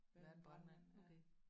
Være en brandmand okay